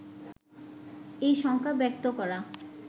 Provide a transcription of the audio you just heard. এই শঙ্কা ব্যক্ত করা